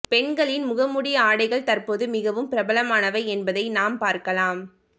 பெண்களின் முகமூடி ஆடைகள் தற்போது மிகவும் பிரபலமானவை என்பதை நாம் பார்க்கலாம்